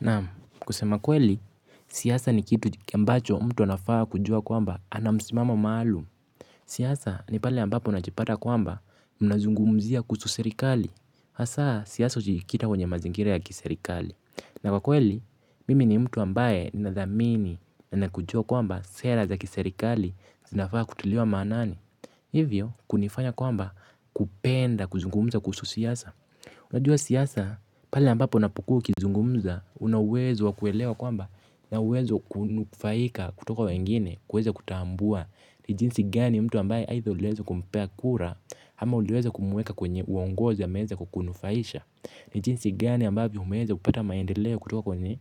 Naam kusema kweli, siasa ni kitu ambacho mtu anafaa kujua kwamba ana msimamo maalum. Siasa ni pale ambapo unajipata kwamba mnazungumzia kuhusu serikali. Hasa siasa hujikita kwenye mazingira ya kiserikali. Na kwa kweli, mimi ni mtu ambaye nadhamini na nakujua kwamba sera za kiserikali zinafaa kutiliwa maanani. Hivyo kunifanya kwamba kupenda kuzungumza kusu siasa. Unajua siasa, pale ambapo unapukua ukizungumza una uwezo wakuelewa kwamba naweza kunufaika kutoka wengine kueza kutambua ni jinsi gani mtu ambayo aidha uliweza kumpea kura ama uliweza kumuweka kwenye uongozi ameweza kukunufaisha. Ni jinsi gani ambavyo umeweza kupata maendeleo kutoka kwenye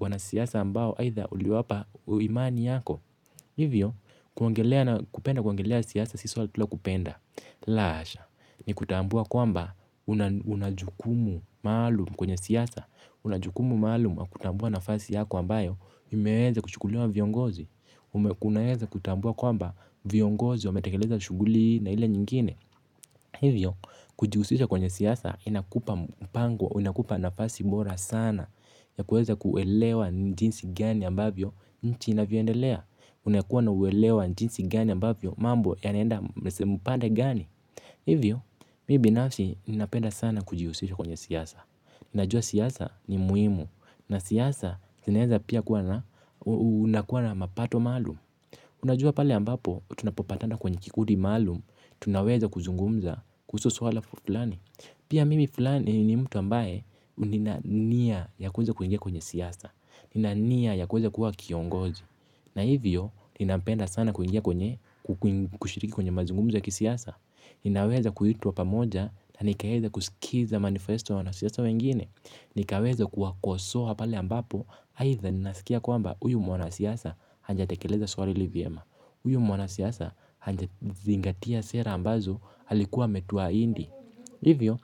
wanasiasa ambao aidha uliwapa imani yako. Hivyo, kupenda kuongelea siyasa sisi wato bila kupenda. La hasha, ni kutambua kwamba una jukumu maalumu kwenye siasa. Una jukumu maalumu kutambua nafasi yako ambayo imeweza kuchukuliwa na viongozi. Unaweza kutambua kwamba viongozi wametakeleza shughuli na ile nyingine. Hivyo, kujihusisha kwenye siyasa inakupa mpango, inakupa nafasi bora sana. Ya kueza kuwelewa ni jinsi gani ambayo nchi inavyo endelea. Unakuwa na uweleo wa jinsi gani ambavyo, mambo yanaenda upande gani hivyo, mimi binafsi ninapenda sana kujihusisha kwenye siasa. Ninajua siasa ni muhimu, na siasa zinaweza pia unakua na mapato maalum. Unajua pale ambapo tunapopatana kwenye kikundi maalum tunaweza kuzungumza kuhusu swala fulani. Pia mimi ni mtu ambaye nina nia ya kuweza kuingia kwenye siasa. Nina nia ya kuweza kuwa kiongozi, na hivyo, ninapenda sana kuingia kwenye, kushiriki kwenye mazungumzo ya kisiasa. Ninaweza kuitwa pamoja na nikaweza kusikiza manifesto ya wanasiasa wengine. Nikaweza kuwakosoa pale ambapo, aitha ninasikia kwamba huyu mwanasiasa hajatekeleza swali hili vyema. Huyu mwanasiasa haja zingatia sera ambazo alikuwa ametu ahidi. Hivyo,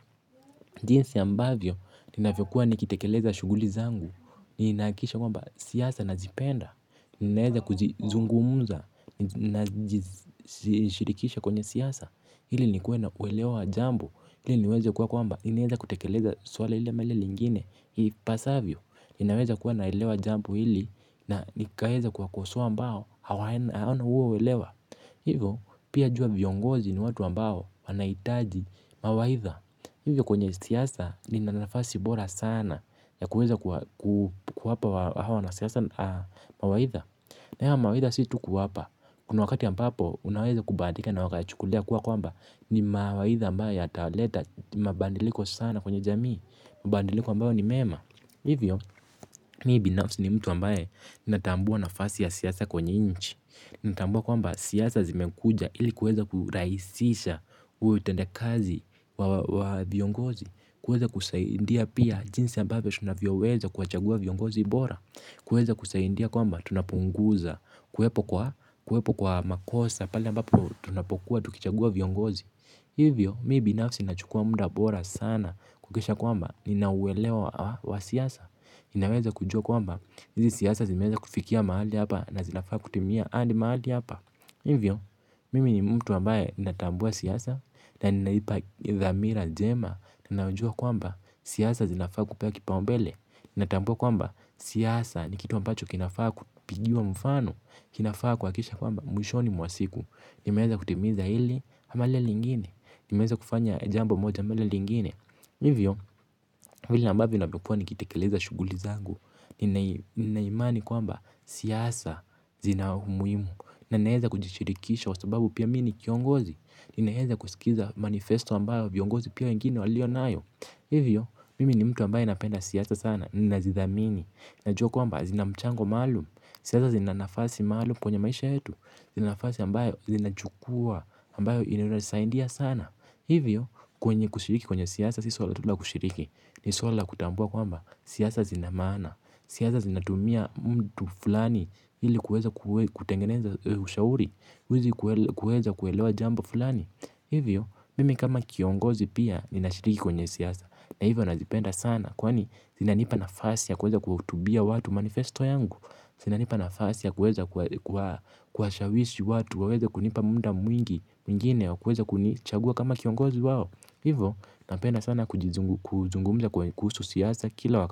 jinsi ambavyo ninavyokuwa nikitekeleza shughuli zangu. Ninakisha kwamba siasa nazipenda. Ninaeza kujizungumuza na jishirikisha kwenye siyasa ili nikue na kuelewa jambo ili niweze kuwa kwamba ni naeza kutekeleza swala hile ama lile lingine ipasavyo, ni naeza kuwa naelewa jambo hili na nikaeza kuwakosoa ambao hawaena huo uelewa. Hivo pia jua viongozi ni watu ambao wanahitaji mawaidha, hivyo kwenye siasa nina nafasi bora sana ya kuweza kuwapa hawa wanasiasa mawaidha. Haya mawaidha si tu kuwapa. Kuna wakati ya ambapo unaweza kubahatika na ukaya chukulia kuwa kwamba ni mawaidha ambayo yataleta mabandiliko sana kwenye jamii. Mabadiliko ambayo ni mema. Hivyo, mimi binafsi ni mtu ambaye natambua nafasi ya siasa kwenye nchi. Natambua kwamba siasa zimekuja ili kueza kurahisisha utenda kazi wa viongozi. Kueza kusaidia pia jinsi ambavyo tunavyo weza kuwachagua viongozi bora. Kueza kusaidia kwamba tunapunguza kuwepo kwa makosa pale ambapo tunapokuwa tukichagua viongozi. Hivyo, mimi binafsi nachukua muda bora sana kuhakikisha kwamba nina ueweleo wa siasa. Ninaweza kujua kwamba, hizi siasa zimeweza kufikia mahali hapa na zinafaa kutimia hadi mahali hapa. Hivyo, mimi ni mtu ambaye natambua siyasa na ninaipa dhamira njema na najua kwamba siasa zinafaa kupewa kipau mbele. Natambua kwamba siasa ni kitu ambacho kinafaa kupigiwa mfano, kinafaa kuhakisha kwamba mwishoni mwa siku nimeweza kutimiza hili ama lile lingine, nimeweza kufanya jambo moja ama lingine. Hivyo vile ambavyo nakua nikitekeleza shughuli zangu, nina imani kwamba siasa zina umuhimu. Na neweza kujishirikisha kwa sababu pia mi ni kiongozi, ninaweza kusikiza manifesto ambayo viongozi pia wengine walio nayo. Hivyo mimi ni mtu ambaye napenda siasa sana, ninazidhamini, najua kwamba zina mchango maalum. Siasa zina nafasi maalum kwenye maisha yetu, nafasi ambayo zinachukua ambayo inatunasaidia sana. Hivyo kwenye kushiriki kwenye siasa siso la tula kushiriki. Ni swala la kutambua kwamba siasa zina maana. Siasa zinatumia mtu fulani ili kuweza kutengeneza ushauri ili kuweza kuelewa jambo fulani. Hivyo mimi kama kiongozi pia ninashiriki kwenye siasa na hivyo nazipenda sana kwani zinanipa na mfasi ya kuweza kuhutubia watu manifesto yangu, zinanipa nafasi ya kuweza kuwashawishi watu waweze kunipa muda mwingine wa kuweza kunichagua kama kiongozi wao. Hivo napenda sana kuzungumza kuhusu siasa kila wakati.